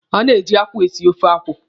A na-eji akwụ esi ofe akwụ.